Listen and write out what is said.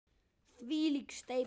Þvílík steypa!